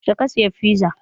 Yaushe ka sayi fiza?